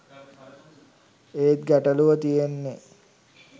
ඒත් ගැටළුව තියෙන්නේ